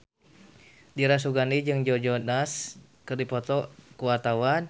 Dira Sugandi jeung Joe Jonas keur dipoto ku wartawan